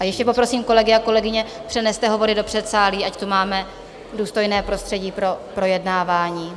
A ještě poprosím kolegy a kolegyně, přeneste hovory do předsálí, ať tady máme důstojné prostředí pro projednávání.